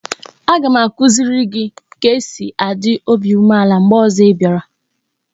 Aga m akuziri gi ka e si a dị obi umeala mgbe ozo ị bịara